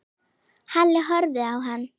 Halli horfði á hann.